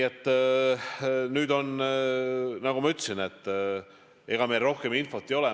Aga nagu ma ütlesin, ega meil praegu rohkem infot ei ole.